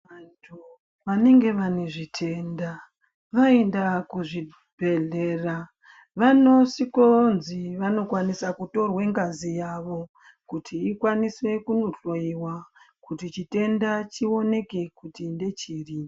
Vantu vanenge vane zvitenda vaenda kuzvibhedhleya vanisvikonzi vanokwanisa kutorwe ngazi yavo kuti ikwanise kunohloyiwa kuti chitenda chioneke kuti ngechiri.